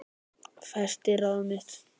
Festi ráð mitt